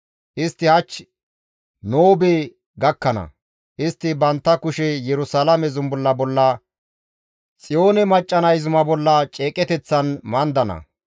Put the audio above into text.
Istti hach Noobe gakkana; istti bantta kushe Yerusalaame zumbulla bolla, Xiyoone macca nay zuma bolla ceeqeteththan mandana.